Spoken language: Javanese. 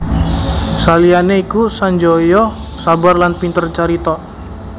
Saliyane iku Sanjaya sabar lan pinter carita